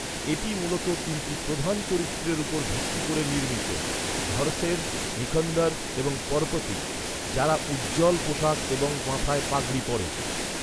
এটি মূলত তিনটি প্রধান চরিত্রের উপর ভিত্তি করে নির্মিত, ঘরশের, নিখন্দর এবং পরপতি, যারা উজ্জ্বল পোশাক এবং মাথায় পাগড়ি পরে।